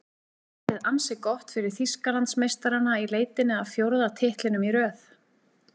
Útlitið ansi gott fyrir Þýskalandsmeistarana í leitinni að fjórða titlinum í röð.